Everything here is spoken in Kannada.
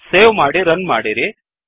ಸೇವ್ ಮಾಡಿ ರನ್ ಮಾಡಿರಿ